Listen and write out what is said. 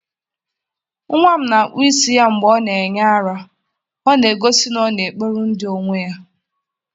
nwa m na-akpụ isi ya mgbe ọ na-enye ara, ọ na-egosi na ọ na-ekpori ndụ onwe ya.